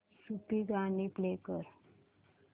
सूफी गाणी प्ले कर